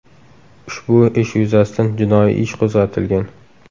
Ushbu ish yuzasidan jinoiy ish qo‘zg‘atilgan.